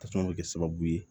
Tasuma bɛ kɛ sababu ye